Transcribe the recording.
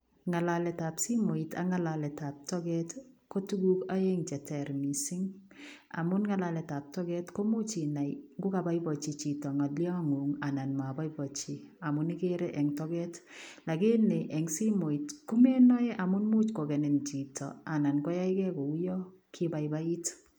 Ngalalet ab simoit ak ngalalet ab toget ii ko tuguuk aeng che ter missing amuun ngalalet ab toget komuuch inai ingo kabaibajii chitoo ngalian nguun amuun igere en togeet ,amuun en simoit komenae amuun imuuch kogenin chitoo anan koyaigei ko uyaan kibaibait.